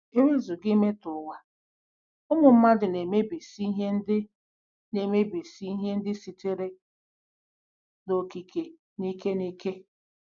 E wezụga imetọ ụwa, ụmụ mmadụ na-emebisị ihe ndị na-emebisị ihe ndị sitere n'okike n'ike n'ike.